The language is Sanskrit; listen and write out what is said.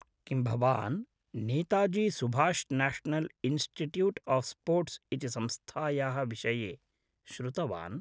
किं भवान् Netaji Subhash National Institute of Sports इति संस्थायाः विषये श्रुतवान्?